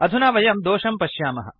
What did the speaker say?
अधुना वयं दोषं पश्यामः